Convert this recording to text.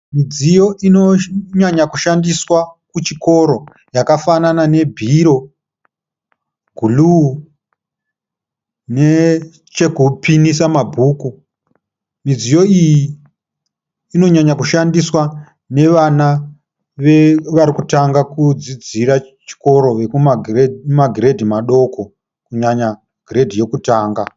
Midziyo inonyanya kushandiswa kuchikoro yakafanana ne bhiro, guruu, nechekupinisa mabhuku. Midziyo iyi inonyanyo kushandiswa nevana varikutanga kudzidzira chikoro vekuma giredhi madoko kunyanya giredhi yekutanga.